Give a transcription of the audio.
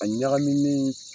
A ɲagaminnen .